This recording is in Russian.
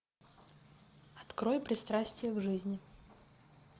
открой пристрастие к жизни